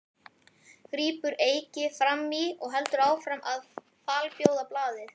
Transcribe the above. grípur Eiki fram í og heldur áfram að falbjóða blaðið.